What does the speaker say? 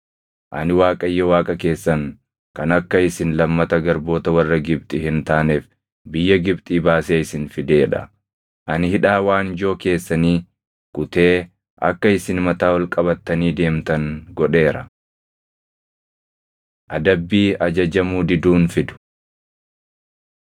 Ani Waaqayyo Waaqa keessan kan akka isin lammata garboota warra Gibxi hin taaneef biyya Gibxii baasee isin fidee dha; ani hidhaa waanjoo keessanii kutee akka isin mataa ol qabattanii deemtan godheera. Adabbii Ajajamuu Diduun Fidu